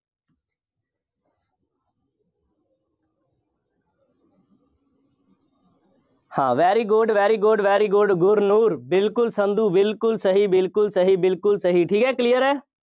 ਹਾਂ very good, very good, very good Gurnoor ਬਿਲਕੁੱਲ ਸੰਧੂ, ਬਿਲਕੁੱਲ ਸਹੀ, ਬਿਲਕੁੱਲ ਸਹੀ, ਬਿਲਕੁੱਲ ਸਹੀ, ਠੀਕ ਹੈ, clear ਹੈ।